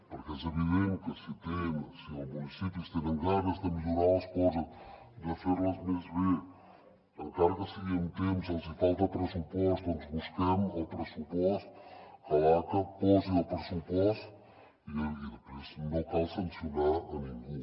perquè és evident que si els municipis tenen ganes de millorar les coses de fer les més bé encara que sigui amb temps els hi falta pressupost doncs busquem el pressupost que l’aca posi el pressupost i després no cal sancionar a ningú